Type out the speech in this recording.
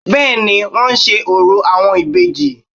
Bẹ́ẹ̀ni i wón ń se orò àwọn ìbejì